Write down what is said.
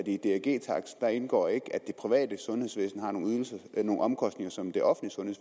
i drg taksten ikke indgår at det private sundhedsvæsen har nogle omkostninger som det offentlige